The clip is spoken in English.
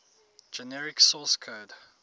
generate source code